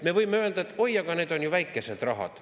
Me võime öelda, et oi, aga need on ju väikesed rahad.